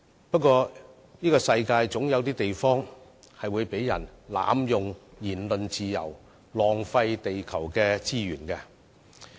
不過，世上總有地方會有人濫用言論自由，浪費地球資源。